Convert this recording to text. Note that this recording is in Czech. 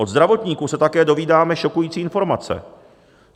Od zdravotníků se také dozvídáme šokující informace.